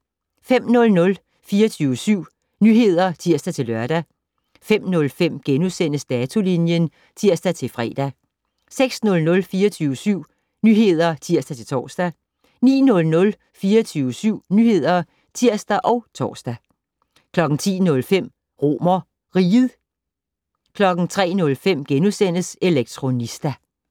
05:00: 24syv Nyheder (tir-lør) 05:05: Datolinjen *(tir-fre) 06:00: 24syv Nyheder (tir-tor) 09:00: 24syv Nyheder (tir og tor) 10:05: RomerRiget 03:05: Elektronista *